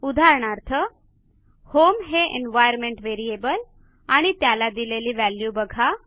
उदाहरणार्थ होम हे environment variable आणि त्याला दिलेली व्हॅल्यू बघा